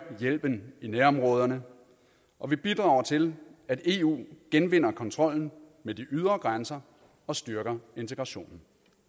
hjælpen i nærområderne og vi bidrager til at eu genvinder kontrollen med de ydre grænser og styrker integrationen